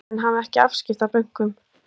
Þingmenn hafi ekki afskipti af bönkunum